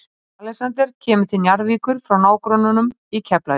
Alexander kemur til Njarðvíkur frá nágrönnunum í Keflavík.